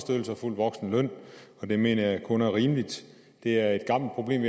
fuld voksenløn og det mener jeg kun er rimeligt det er et gammelt problem